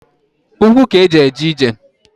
Ukwu k'e ji eje ije.